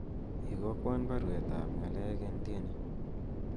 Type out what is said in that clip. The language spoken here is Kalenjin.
igokwon baruet ab ng'alek en tieni